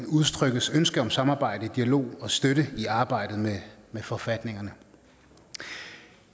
udtrykkes ønske om samarbejde dialog og støtte i arbejdet med forfatningerne